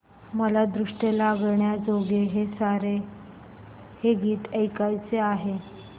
मला दृष्ट लागण्याजोगे सारे हे गीत ऐकायचे आहे